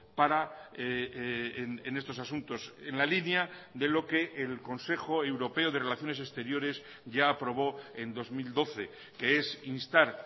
para en estos asuntos en la línea de lo que el consejo europeo de relaciones exteriores ya aprobó en dos mil doce que es instar